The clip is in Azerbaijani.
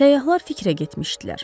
Səyyahlar fikrə getmişdilər.